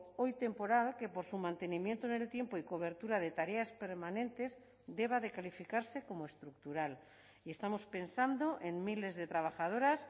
hoy temporal que por su mantenimiento en el tiempo y cobertura de tareas permanentes deba de calificarse como estructural y estamos pensando en miles de trabajadoras